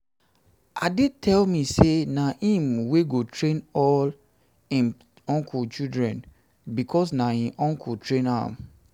ade tell me say na him wey go train all im uncle children because na im uncle train am